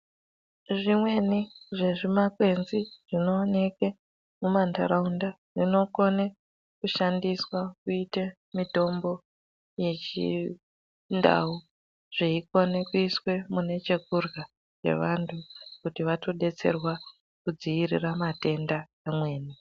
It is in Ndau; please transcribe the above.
Zvimweni zvezvimakwenzi zvinoonekwe mumandaraunda zvinokone kushandiswa kuite mitombo yechindau zveikone kuiswe munechekurya chevantu kuti vatodetserwa kudziirira matenda amweni.